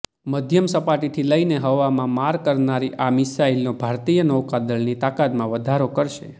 મધ્યમ સપાટીથી લઈને હવામાં માર કરનારી આ મિસાઈલો ભારતીય નૌકાદળની તાકતમાં વધારો કરશે